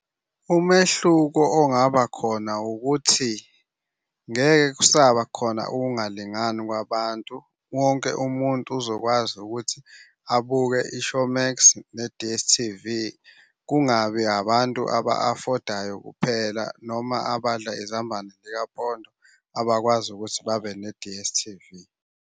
Umehluko ongaba khona ukuthi ngeke kusaba khona ukungalingani kwabantu. Wonke umuntu uzokwazi ukuthi abuke i-Showmax ne-D_S_T_V. Kungabi abantu aba-afodayo kuphela noma abadla izambane likapondo abakwazi ukuthi babe ne-D_S_T_V.